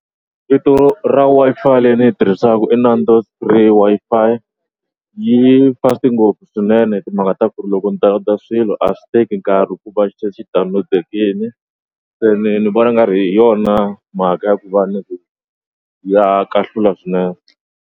Vito ra Wi-Fi leyi ni yi tirhisaku i Wi-Fi yi fast-i ngopfu swinene timhaka ta ku ri loko ni download a swilo a swi teki nkarhi ku va se xi download-ekini se ni ni vona nga ri hi yona mhaka ya ku va ya kahlula swinene.